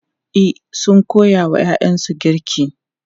E, sun koya wa ‘ya’yansu girki.